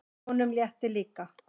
Honum létti líka.